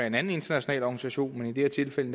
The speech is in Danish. en anden international organisation men i det her tilfælde